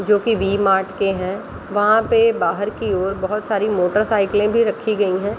जो की वी-मार्ट के हैं वहाँ पे बाहर की ओर बहुत सारे मोटर साइकिले भी रखी गयी हैं।